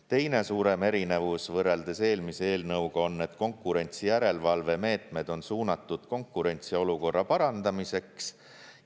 Teine suurem erinevus võrreldes eelmise eelnõuga on, et konkurentsijärelevalvemeetmed on suunatud konkurentsiolukorra parandamiseks.